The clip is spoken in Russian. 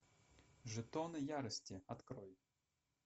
жетоны ярости открой